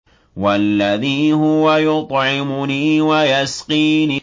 وَالَّذِي هُوَ يُطْعِمُنِي وَيَسْقِينِ